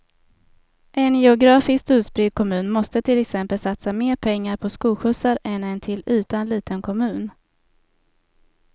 En geografiskt utspridd kommun måste till exempel satsa mer pengar på skolskjutsar än en till ytan liten kommun.